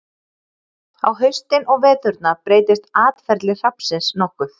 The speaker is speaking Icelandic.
Á haustin og veturna breytist atferli hrafnsins nokkuð.